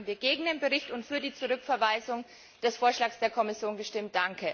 Deswegen haben wir gegen den Bericht und für die Rücküberweisung des Vorschlags der Kommission gestimmt.